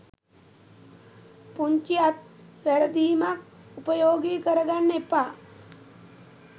පුංචි අත් වැරදීමක් උපයෝගී කරගන්න එපා.